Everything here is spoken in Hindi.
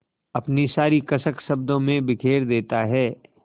अपनी सारी कसक शब्दों में बिखेर देता है